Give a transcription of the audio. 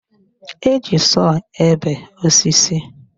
Eji sọọ ebe osisi